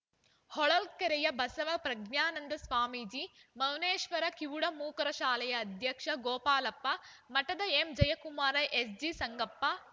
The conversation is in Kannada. ಹೊಳಲ್ಕೆರೆಯ ಬಸವ ಪ್ರಜ್ಞಾನಂದ ಸ್ವಾಮೀಜಿ ಮೌನೇಶ್ವರ ಕಿವುಡಮೂಕರ ಶಾಲೆಯ ಅಧ್ಯಕ್ಷ ಗೋಪಾಲಪ್ಪ ಮಠದ ಎಂಜಯಕುಮಾರ ಎಸ್‌ಜಿ ಸಂಗಪ್ಪ